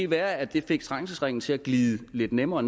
være at det fik trængselsringen til at glide lidt nemmere